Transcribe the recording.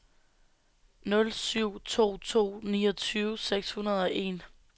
nul syv to to niogtyve seks hundrede og en